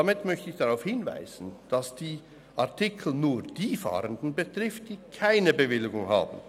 Damit möchte ich darauf hinweisen, dass die Artikel nur die Fahrenden betreffen, die keine Bewilligung haben;